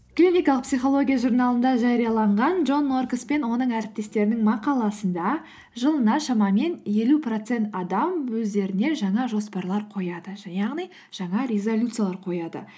клиникалық психология журналында жарияланған джон норкос пен оның әріптестерінің мақаласында жылына шамамен елу процент адам өздеріне жаңа жоспарлар қояды яғни жаңа резолюциялар қояды